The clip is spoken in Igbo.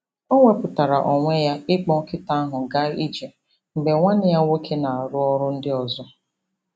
O wepuatara onwe ya ịkpọ nkịta ahụ gaa ije mgbe nwanne ya nwoke na-arụ ọrụ ndị ọzọ.